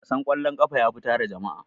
wasan kwallon ƙafa yafi tara jama'a.